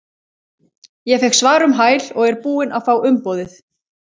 Ég fékk svar um hæl og er búinn að fá umboðið.